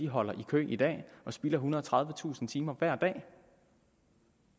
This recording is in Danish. holder i kø i dag og spilder ethundrede og tredivetusind timer hver dag